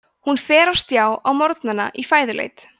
hún fer á stjá á morgnana í fæðuleit